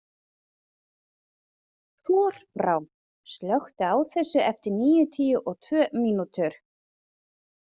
Þorbrá, slökktu á þessu eftir níutíu og tvö mínútur.